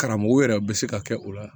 Karamɔgɔw yɛrɛ bɛ se ka kɛ o la